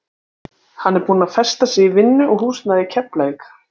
Hann er búinn að festa sig í vinnu og húsnæði í Keflavík.